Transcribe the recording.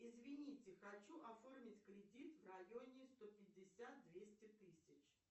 извините хочу оформить кредит в районе сто пятьдесят двести тысяч